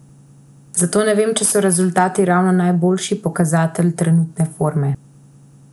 Zato ne vem, če so rezultati ravno najboljši pokazatelj trenutne forme.